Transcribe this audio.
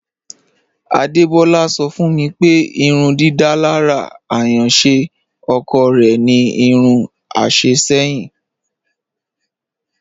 Adebọla sọ̀ fún mi pé ìrùndídalára ayànṣé ọ̀kọ̀ rẹ̀ ni irún àṣẹ̀ ṣẹ̀yìn.